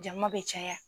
Jama bɛ caya